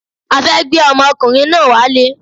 A fẹ́ gbé ọmọkùnrin náà wálé